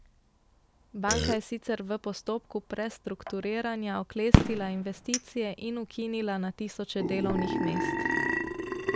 Banka je sicer v postopku prestrukturiranja oklestila investicije in ukinila na tisoče delovnih mest.